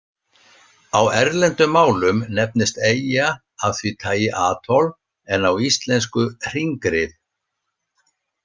Á erlendum málum nefnist eyja af því tagi atoll en á íslensku hringrif.